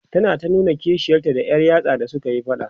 tana ta nuna kishiyarta da Yar yatsa da sukayi faɗa